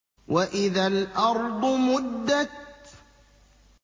وَإِذَا الْأَرْضُ مُدَّتْ